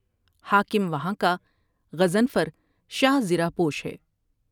حاکم وہاں کا غضنفر شاہ زرہ پوش ہے ۔